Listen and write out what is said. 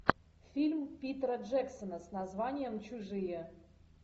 фильм питера джексона с названием чужие